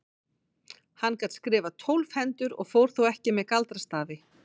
Hann gat skrifað tólf hendur og fór þó ekki með galdrastafi.